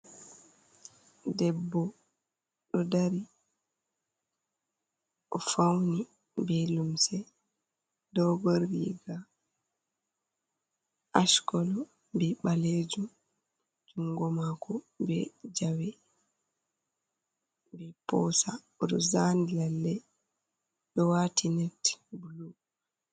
Debbo do dari o fauni be lumse do goriga ashkolo be baleju jungo mako be zawe. be posa odozan lalle do wati net blu.